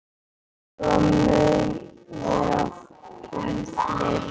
Svo mun vera um fleiri.